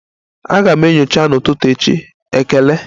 Aga m enyocha n'ụtụtụ echi, ekele.